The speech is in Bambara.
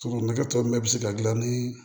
Sokɔnɔ na tɔ nunnu bɛɛ bɛ se ka dilan ni